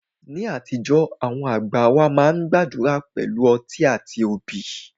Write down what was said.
Ní àtijọ́, àwọn àgbà wá máa ń gbàdúrà pẹ̀lú ọtí àti obì